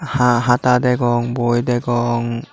haa hata degong boi degong.